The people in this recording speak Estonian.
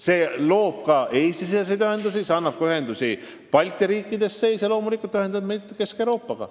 See parandab ka muid Eesti-siseseid ühendusi, see seob meid teiste Balti riikidega ja loomulikult ka Kesk-Euroopaga.